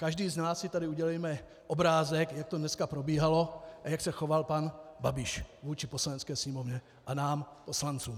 Každý z nás si tady udělejme obrázek, jak to dnes probíhalo a jak se choval pan Babiš vůči Poslanecké sněmovně a nám poslancům.